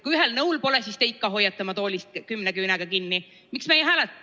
Kui ühel nõul polda, siis ikka tuleb oma toolist kümne küünega kinni hoida.